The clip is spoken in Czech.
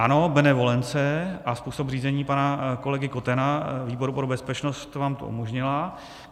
Ano, benevolence a způsob řízení pana kolegy Kotena výboru pro bezpečnost vám to umožnila.